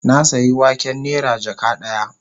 Na sayi waken nera jaka daya